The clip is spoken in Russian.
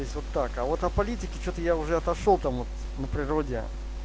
есть вот так а вот о политики что-то я уже отошёл там вот на природе